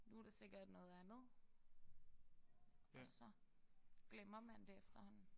Nu er der sikkert noget andet og så glemmer man det efterhånden